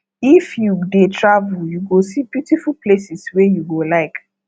if you dey travel you go see beautiful places wey you go like